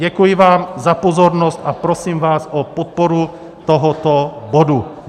Děkuji vám za pozornost a prosím vás o podporu tohoto bodu.